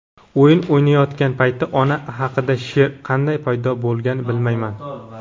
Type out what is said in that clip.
o‘yin o‘ynayotgan payti ona haqida she’r qanday paydo bo‘lgan bilmayman..